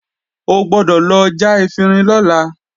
O gbọ́dọ̀ lọ já efinrin lọ́la!